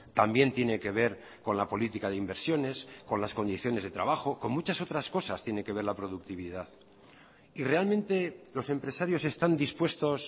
también tiene que ver con la política de inversiones con las condiciones de trabajo con muchas otras cosas tiene que ver la productividad y realmente los empresarios están dispuestos